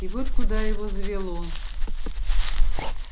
и вот куда его завело